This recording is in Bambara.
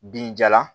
Binjalan